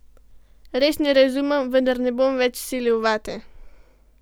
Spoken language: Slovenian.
Res ne razumem, vendar ne bom več silil vate.